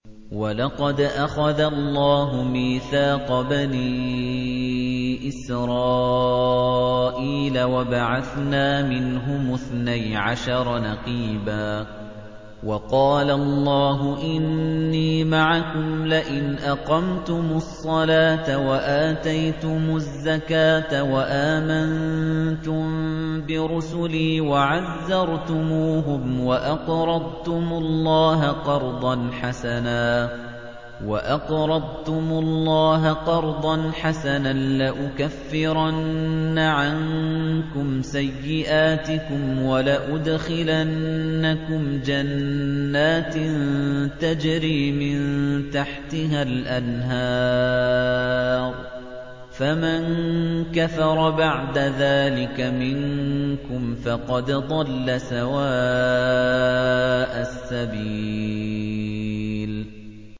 ۞ وَلَقَدْ أَخَذَ اللَّهُ مِيثَاقَ بَنِي إِسْرَائِيلَ وَبَعَثْنَا مِنْهُمُ اثْنَيْ عَشَرَ نَقِيبًا ۖ وَقَالَ اللَّهُ إِنِّي مَعَكُمْ ۖ لَئِنْ أَقَمْتُمُ الصَّلَاةَ وَآتَيْتُمُ الزَّكَاةَ وَآمَنتُم بِرُسُلِي وَعَزَّرْتُمُوهُمْ وَأَقْرَضْتُمُ اللَّهَ قَرْضًا حَسَنًا لَّأُكَفِّرَنَّ عَنكُمْ سَيِّئَاتِكُمْ وَلَأُدْخِلَنَّكُمْ جَنَّاتٍ تَجْرِي مِن تَحْتِهَا الْأَنْهَارُ ۚ فَمَن كَفَرَ بَعْدَ ذَٰلِكَ مِنكُمْ فَقَدْ ضَلَّ سَوَاءَ السَّبِيلِ